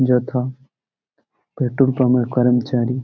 যেথা পেট্রোল পামের -এর করমচারি।